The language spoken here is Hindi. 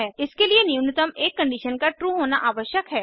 इसके लिए न्यूनतम एक कंडीशन का ट्रू होना आवश्यक है